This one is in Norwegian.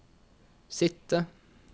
sitte